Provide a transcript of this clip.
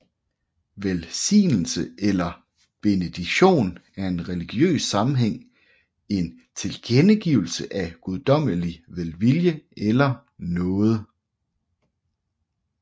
Velsignelse eller benediction er i religiøs sammenhæng en tilkendegivelse af guddommelig velvilje eller nåde